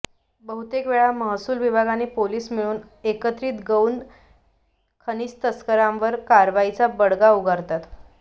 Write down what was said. बहुतेक वेळा महसूल विभाग आणि पोलीस मिळून एकत्रित गौण खनिज तस्करांवर कारवाईचा बडगा उगारतात